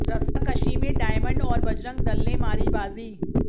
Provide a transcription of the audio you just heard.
रस्साकशी में डायमंड और बजरंग दल ने मारी बाजी